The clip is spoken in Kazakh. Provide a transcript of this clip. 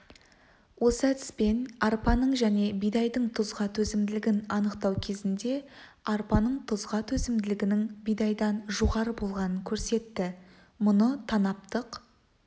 осы әдіспен арпаның және бидайдың тұзға төзімділігін анықтау кезінде арпаның тұзға төзімділігінің бидайдан жоғары болғанын көрсетті мұны танаптық